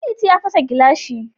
Ɗanliti ya fasa gilashi